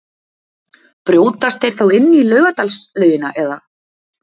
Brjótast þeir þá inn í Laugardalslaugina eða?